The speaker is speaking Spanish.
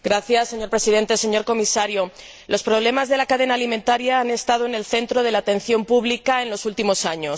Señor Presidente, señor Comisario, los problemas de la cadena alimentaria han estado en el centro de la atención pública en los últimos años.